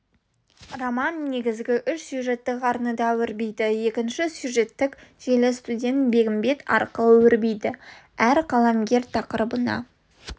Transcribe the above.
роман негізгі үш сюжеттік арнада өрбиді екінші сюжеттік желі студент бегімбет арқылы өрбиді әр қаламгер тақырыбына